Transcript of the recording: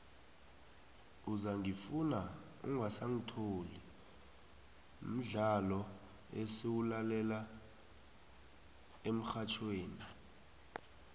uzangifuna ungasangithola mdlolo esiwulalela emxhatjhweni